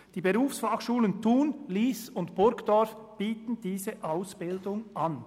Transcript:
Die Berufsfachschulen Thun, Lyss und Burgdorf bieten diese Ausbildung an.